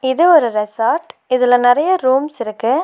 இது ஒரு ரெசார்ட் இதுல நறைய ரூம்ஸ் இருக்கு.